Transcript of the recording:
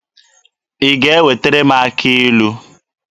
Ị ga-ewetara m akị ilu?